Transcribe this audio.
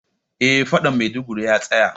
Eh faɗan Maiduguri ya tsaya